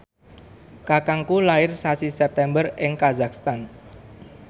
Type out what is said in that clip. kakangku lair sasi September ing kazakhstan